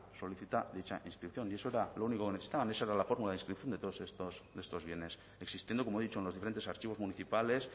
solicita dicha inscripción y eso era lo único que necesitaban esa era la fórmula de inscripción de todos estos bienes existiendo como he dicho en los diferentes archivos municipales